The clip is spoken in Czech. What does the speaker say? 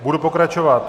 Budu pokračovat.